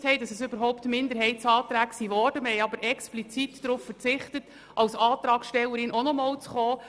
Wir haben jedoch im Rahmen der Ratseffizienz explizit darauf verzichtet, ebenfalls als Antragstellerin aufzutreten.